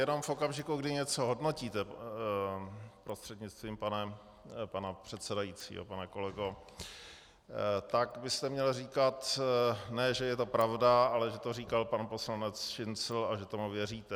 Jenom v okamžiku, kdy něco hodnotíte, prostřednictvím pana předsedajícího pane kolego, tak byste měl říkat, ne že je to pravda, ale že to říkal pan poslanec Šincl a že tomu věříte.